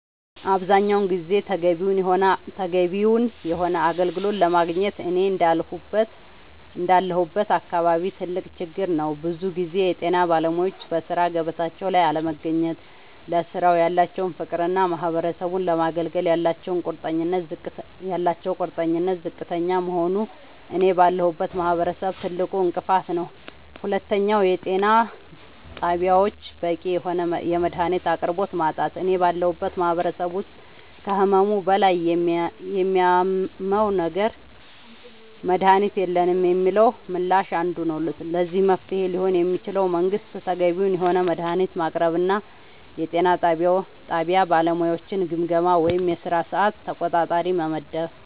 አብዛኛውን ጊዜ ተገቢውን የሆነ አገልግሎት አለማግኘት እኔ እንዳለሁበት አካባቢ ትልቅ ችግር ነዉ ብዙ ጊዜ የጤና ባለሙያወች በሥራ ገበታቸው ላይ አለመገኘት ለስራው ያላቸው ፍቅርና ማህበረሰቡን ለማገልገል ያላቸው ቁርጠኝነት ዝቅተኛ መሆኑ እኔ ባለሁበት ማህበረሰብ ትልቁ እንቅፋት ነዉ ሁለተኛው የጤና ጣቢያወች በቂ የሆነ የመድሃኒት አቅርቦት ማጣት እኔ ባለሁበት ማህበረሰብ ውስጥ ከህመሙ በላይ የሚያመው ነገር መድሃኒት የለንም የሚለው ምላሽ አንዱ ነዉ ለዚህ መፍትሄ ሊሆን የሚችለው መንግስት ተገቢውን የሆነ መድሃኒት ማቅረብና የጤና ጣቢያ ባለሙያወችን ግምገማ ወይም የስራ ሰዓት ተቆጣጣሪ መመደብ